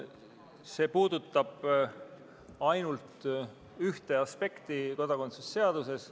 See puudutab ainult ühte aspekti kodakondsuse seaduses.